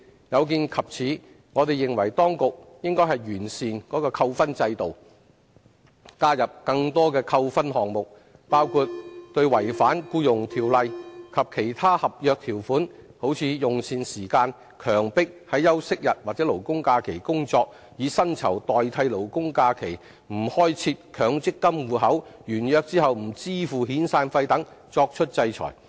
有見及此，我們認為當局應完善扣分制度，加入更多扣分項目，包括對違反《僱傭條例》及其他合約條款，如用膳時間、強迫於休息日及勞工假期工作、以薪酬代替勞工假期、沒有開設強積金戶口、完約後不支付遣散費等作出制裁。